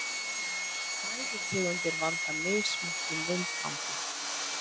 Fæðutegundir valda mismiklum vindgangi.